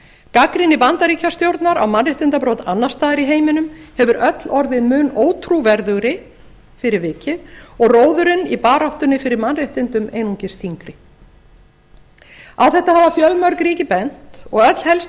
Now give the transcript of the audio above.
gagnrýni bandaríkjastjórnar á mannréttindabrot annars staðar í heiminum hefur öll orðið mun ótrúverðugri fyrir vikið og róðurinn í baráttunni fyrir mannréttindum einungis þyngri á þetta hafa fjölmörg ríki bent og öll helstu